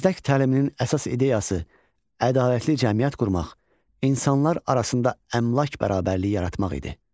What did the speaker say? Məzdək təliminin əsas ideyası ədalətli cəmiyyət qurmaq, insanlar arasında əmlak bərabərliyi yaratmaq idi.